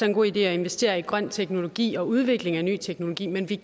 en god idé at investere i grøn teknologi og udvikling af ny teknologi men vi